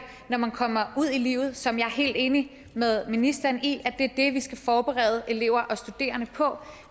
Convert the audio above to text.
når man kommer ud i livet som jeg er helt enig med ministeren i er det vi skal forberede elever og studerende på